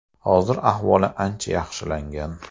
Hozir ahvoli ancha yaxshilangan.